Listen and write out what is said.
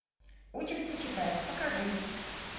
учимся читать покажи